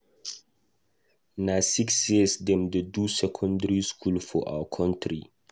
Na six years dem dey do secondary school for our country.